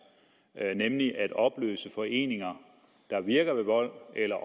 nemlig at opløse foreninger der virker ved vold eller